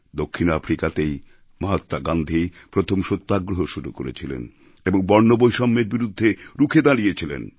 দক্ষিণ আফ্রিকাতেই মহাত্মা গান্ধী প্রথম সত্যাগ্রহ শুরু করেছিলেন এবং বর্ণবৈষম্যের বিরুদ্ধে রুখে দাঁড়িয়েছিলেন